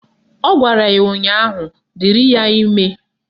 Ọ gwara ya ụnyaahụ " Dịrị ya ime"